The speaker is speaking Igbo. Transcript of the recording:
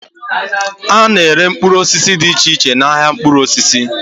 A na-ere mkpụrụ osisi dị iche iche n'ahia mkpụrụ osisi.